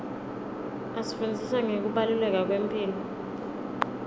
asifundzisa ngekubaluleka kwemphilo